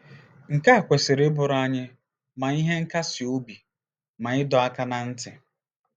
Nke a kwesịrị ịbụrụ anyị ma ihe nkasi obi ma ịdọ aka ná ntị.